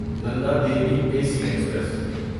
Nanda Devi A C express